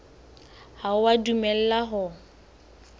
ha o a dumellwa ho